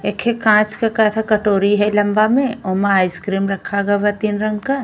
एखे कांच क कथा कटोरी है लम्बा में। ओमा आइसक्रीम रखा ग बा तीन रंग क।